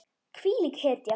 Hvílík hetja.